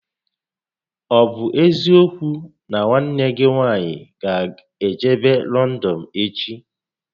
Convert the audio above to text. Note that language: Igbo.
Ọ bụ eziokwu nà nwanne gị nwaanyị gá ejebe Lọndọn echi?